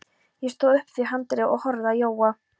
Ég stóð upp við handriðið og horfði á Jóa.